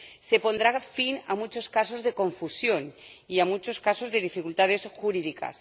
Se pondrá fin a muchos casos de confusión y a muchos casos de dificultades jurídicas.